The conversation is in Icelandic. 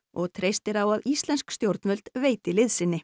og treystir á að íslensk stjórnvöld veiti liðsinni